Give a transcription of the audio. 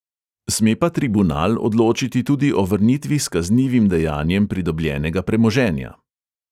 Sme pa tribunal odločiti tudi o vrnitvi s kaznivim dejanjem pridobljenega premoženja.